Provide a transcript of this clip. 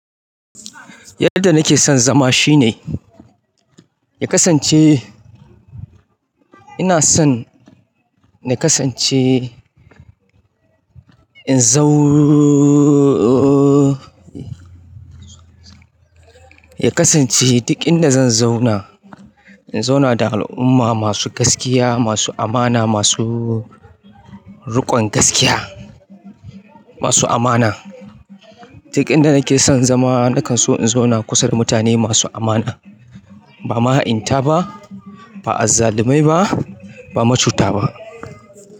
Yanda na ke son zama shi ne ya kasance ina son na kasance in zau ya kasance duk inda zan zauna, in zauna da al'umma masu gaskiya, masu amana, masu riƙon gaskiya, masu amana. Duk inda nake son zama, nakan so in zauna kusa da mutane masu amana, ba mahainta ba, ba azzalumai ba, ba macuta ba.